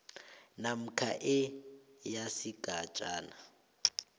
namkha e yesigatjana